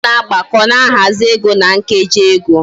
Ana agbako na ahazi ego na nkeji ego